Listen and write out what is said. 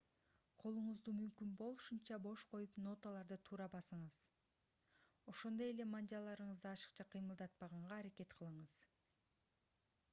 колуңузду мүмкүн болушунча бош коюп ноталарды туура басыңыз ошондой эле манжаларыңызды ашыкча кыймылдатпаганга аракет кылыңыз